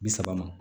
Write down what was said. Bi saba ma